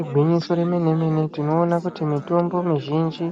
Igwinyiso remene-mene, tinoona kuti mitombo mizhinji